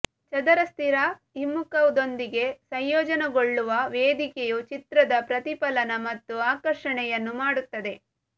ಚದರ ಸ್ಥಿರ ಹಿಮ್ಮುಖದೊಂದಿಗೆ ಸಂಯೋಜನೆಗೊಳ್ಳುವ ವೇದಿಕೆಯು ಚಿತ್ರದ ಪ್ರತಿಫಲನ ಮತ್ತು ಆಕರ್ಷಣೆಯನ್ನು ಮಾಡುತ್ತದೆ